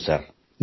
ಹೌದು ಸರ್